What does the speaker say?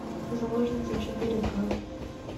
заложница четыре ка